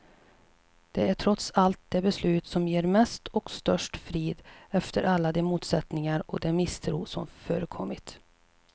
Det är trots allt det beslut som ger mest och störst frid, efter alla de motsättningar och den misstro som förekommit.